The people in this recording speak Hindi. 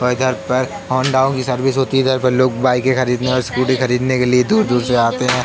और इधर पर होंडाओ की सर्विस होती है। इधर पर लोग बाइके खरीदने और स्कूटी खरीदने के लिए दूर-दूर से आते हैं।